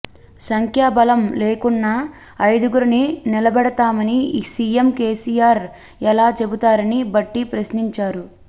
సంఖ్యా బలం లేకున్నా ఐదుగురిని నిలబెడుతామని సీఎం కేసీఆర్ ఎలా చెబుతారని భట్టి ప్రశ్నించారు